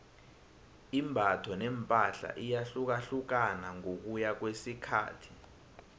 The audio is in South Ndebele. imbatho nepahla iyahlukahlukana ngokuya ngokwesikhathi